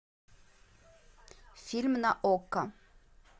фильм на окко